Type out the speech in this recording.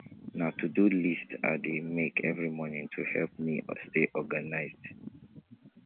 na todo list i dey make every morning to help me stay organized